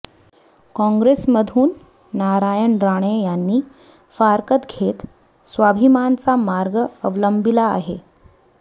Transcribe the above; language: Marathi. काँग्रेसमधून नारायण राणे यांनी फारकत घेत स्वाभिमानचा मार्ग अवलंबिला आहे